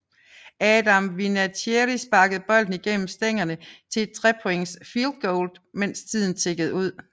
Adam Vinatieri sparkede bolden igennem stængerne til et 3 points fieldgoal mens tiden tikkede ud